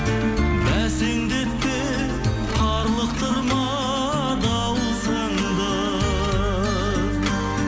бәсеңдетпе қарлықтырма дауысыңды